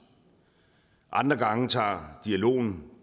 andre gange tager dialogen